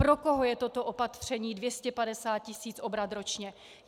Pro koho je toto opatření 250 tisíc obrat ročně?